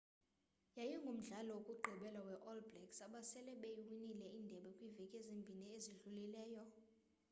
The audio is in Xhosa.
yayingumdlalo wokugqibela we all blacks abasele beyiwinile indebe kwiveki ezimbini ezidlulileyo